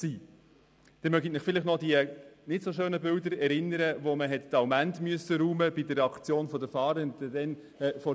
Sie erinnern sich an die nicht sehr schönen Bilder, als man vor ein paar Jahren die Allmend vor der Bea räumen müsste.